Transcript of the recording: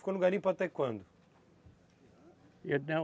Ficou no garimpo até quando?